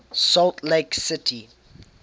salt lake city